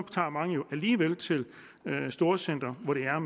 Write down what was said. alligevel til storcentrene hvor det er